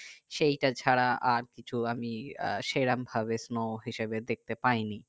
সেটা ছাড়া আর কিছু আমি আহ সেরকম ভাবে snow হিসাবে দেখতে পাইনি